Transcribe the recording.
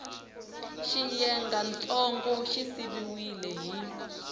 xiyengantsongo xi siviwile hi x